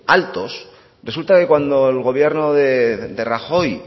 altos resulta que cuando el gobierno de rajoy